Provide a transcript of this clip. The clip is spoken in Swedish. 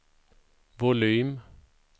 volym